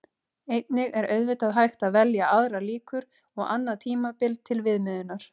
Einnig er auðvitað hægt að velja aðrar líkur og annað tímabil til viðmiðunar.